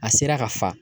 A sera ka fa